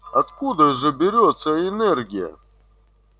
откуда же берётся энергия